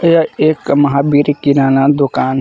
यह एक महावीर किराना दुकान--